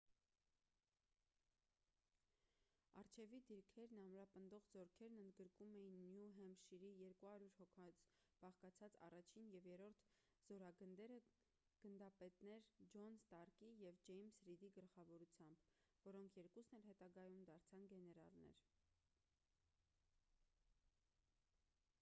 առջևի դիրքերն ամրապնդող զորքերն ընդգրկում էին նյու հեմփշիրի 200 հոգուց բաղկացած 1-ին և 3-րդ զորագնդերը գնդապետներ ջոն ստարկի և ջեյմս րիդի գլխավորությամբ որոնք երկուսն էլ հետագայում դարձան գեներալներ: